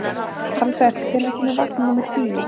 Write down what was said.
Albert, hvenær kemur vagn númer tíu?